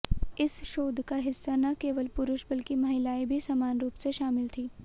इस शोध का हिस्सा न केवल पुरुष बल्कि महिलाएं भी समान रूप से शामिल थीं